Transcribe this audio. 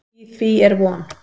Í því er von.